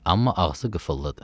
Amma ağzı qıfıllıdı.